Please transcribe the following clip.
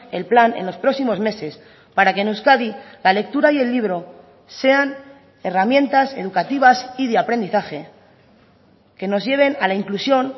el plan en los próximos meses para que en euskadi la lectura y el libro sean herramientas educativas y de aprendizaje que nos lleven a la inclusión